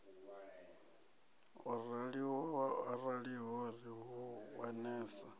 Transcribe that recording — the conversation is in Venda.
ho raliho ri hu wanesa